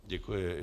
Děkuji.